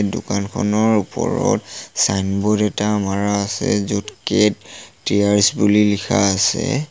দোকানখনৰ ওপৰত চাইনব'ৰ্ড এটা মাৰা আছে য'ত কেট টিয়াৰচ বুলি লিখা আছে।